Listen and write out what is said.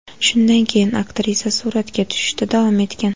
Shundan keyin aktrisa suratga tushishda davom etgan.